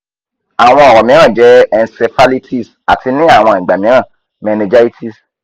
awọn ọrọ miiran jẹ encephalitis ati ni awọn igba miiran meningitis